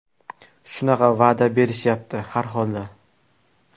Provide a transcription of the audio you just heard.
Shunaqa va’da berishyapti, har holda.